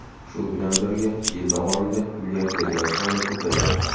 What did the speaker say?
Shu bilan birga, yil davomida milliarderlar soni ko‘paydi.